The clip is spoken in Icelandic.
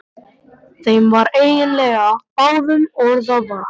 Þeim var eiginlega báðum orða vant.